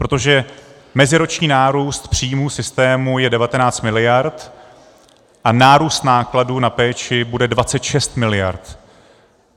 Protože meziroční nárůst příjmů systému je 19 miliard a nárůst nákladů na péči bude 26 miliard.